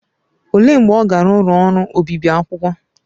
Olee mgbe ọ gara ụlọ ọrụ obibi akwụkwọ?